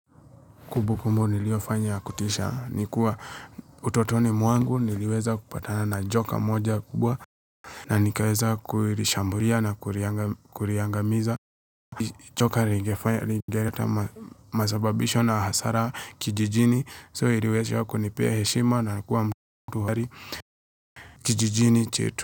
Kumbukumbu niliofanya ya kutisha. Ni kuwa utotoni mwangu niliweza kupatana na joka moja kubwa na nikaweza kulishambulia na kuliangamiza. Joka lingefanya, lingeleta masababisho na hasara kijijini. So iliweza kunipea heshima na na kuwa mtu hodari kijijini chetu.